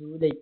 july